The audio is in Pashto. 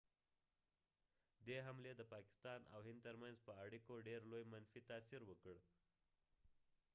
دي حملی د پاکستان او هند تر منځ په اړیکو ډیر لوي منفی تاثیر وکړ